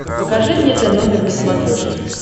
покажи мне тномер на смотрешке